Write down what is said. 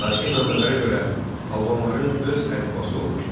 Tarixi mənbələrə görə albanların öz əlifbası olmuşdu.